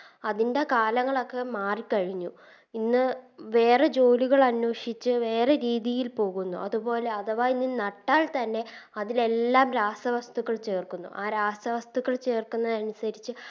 അതിൻറെ കാലങ്ങളൊക്കെ മാറിക്കഴിഞ്ഞു ഇന്ന് വേറെ ജോലികളന്വേഷിച്ച് വേറെ രീതിയിൽ പോകുന്നു അതുപോലെ അടുത്ത ഇനി നട്ടാൽ തന്നെ അതിലെല്ലാം രാസവസ്തുക്കൾ ചേർക്കുന്നു ആ രാസവസ്തുക്കൾ ചേർക്കുന്നതിനനുസരിച്ച്